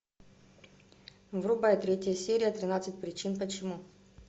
врубай третья серия тринадцать причин почему